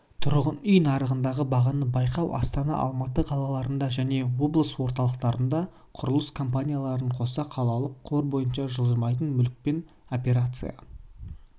тұрғын үй нарығындағы бағаны байқау астана алматы қалаларында және облыс орталықтарында құрылыс компанияларын қоса қалалық қор бойынша жылжымайтын мүлікпен операцияларды жүзеге